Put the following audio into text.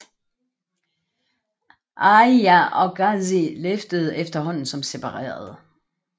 Aliya og Ghazi levede efterhånden som separerede